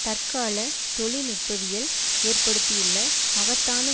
தற்கால தொழில்நுட்பவியல் ஏற்படுத்தியுள்ள மகத்தான